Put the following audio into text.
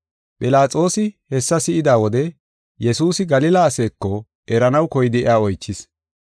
Philaxoosi hessa si7ida wode Yesuusi Galila aseeko eranaw koyidi iya oychis.